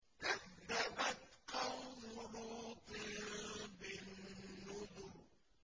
كَذَّبَتْ قَوْمُ لُوطٍ بِالنُّذُرِ